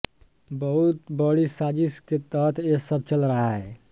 बहुत बड़ी साजिश के तहत ये सब चल रहा है